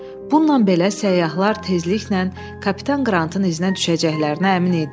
Bununla belə səyyahlar tezliklə kapitan Qrantın iznə düşəcəklərinə əmin idilər.